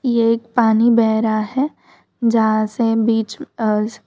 यह एक पानी बह रहा है जहां से बीच--